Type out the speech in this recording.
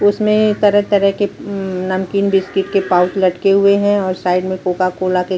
इसमें तरह तरह के उम्म नमकीन बिस्किट के पाउच लटके हुए है और साइड में कोका - कोला के --